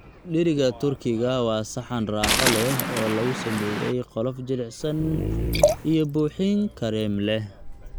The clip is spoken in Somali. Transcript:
Dheriga Turkiga waa saxan raaxo leh oo lagu sameeyay qolof jilicsan iyo buuxin kareem leh.